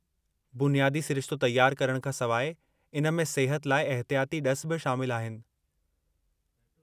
बुनियादी सिरिश्तो तयारु करणु खां सवाइ इन में सिहत लाइ एहितियाती ड॒सु बि शामिलु आहिनि।